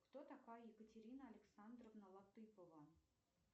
кто такая екатерина александровна латыпова